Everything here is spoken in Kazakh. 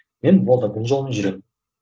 мен болды дін жолымен жүремін